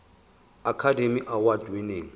academy award winning